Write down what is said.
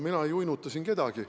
Mina ei uinuta siin kedagi.